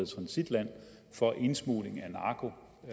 transitland for indsmugling af narko